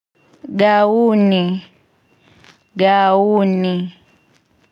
GAUNI GAUNI.